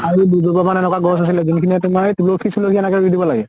আৰু দুইস যোপা মান এনেকুৱা গছ আছিলে যোন খিনিয়ে তোমাৰ তুলসী চুলসী এনেকে ৰুই দিব লাগে।